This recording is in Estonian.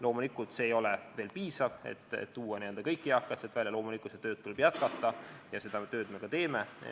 Loomulikult, see ei ole veel piisav, et tuua kõik eakad sealt välja, seda tööd tuleb jätkata ja seda me ka teeme.